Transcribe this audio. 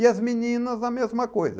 E as meninas, a mesma coisa.